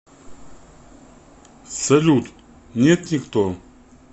салют нет никто